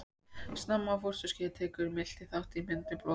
Snemma á fósturskeiði tekur miltað þátt í myndun blóðfrumna.